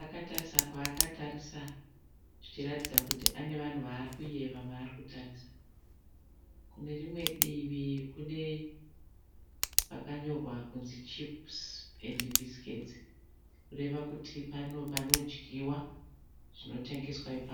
Akatarisa kwaakatarisa zvichiratidza kuti anevanhu vaarikuyeva vaarikutarisa. Kunerimwe divi kune pakanyorwa kuti CHIPS & BISCUITS kureva kuti pane panodyiwa zvinotengeswa ipapo.